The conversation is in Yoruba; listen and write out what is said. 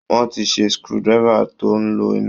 Wọ́n ti ṣe screw driver tó ń lo iná